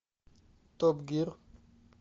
топ гир